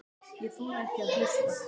Ég þori ekki að hlusta.